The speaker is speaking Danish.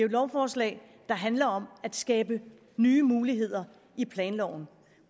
et lovforslag der handler om at skabe nye muligheder i planloven